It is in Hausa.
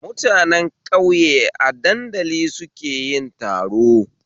Mutanen ƙauye a danadali suke yin taro